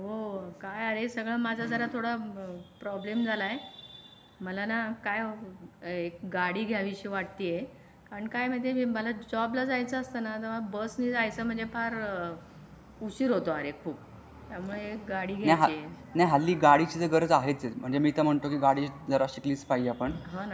काय आहे सगळं माझा जरा थोडा प्रॉब्लेम झालाय मला ना काय गाडी घ्यावीशी वाटते आहे. पण काय म्हणजे मला जॉब ला जायचं असतं ना तेव्हा बसने जायचं म्हणजे फार उशीर होतो आणि खूप. त्यामुळे गाडी घायची होती.